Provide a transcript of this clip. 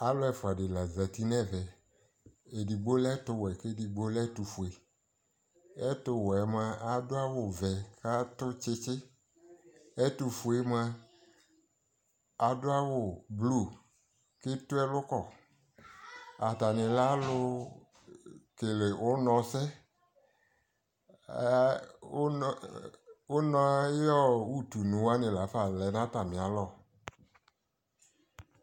alʋ ɛƒʋa di la zati nʋ ɛvɛ, ɛdigbɔ lɛ ɛtʋ wɛ kʋ ɛdigbɔ lɛ ɛtʋ ƒʋɛ, ɛtʋ wɛ mʋa adʋ awʋ vɛ kʋ adʋ kyikyi, ɛtʋ ƒʋɛ mʋa adʋ awʋ blʋe kʋ ɛtʋ ɛlʋkɔ, atani lɛ alʋ kɛlɛ ʋnɔ sɛ, ʋnɔ ayiɔ ʋtʋni wani laƒa lɛnʋ atami alɔ